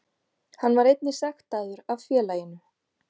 Hann var einnig sektaður af félaginu